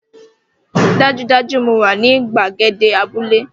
Dájúdájú! Mo wà ní gbàgede abúlé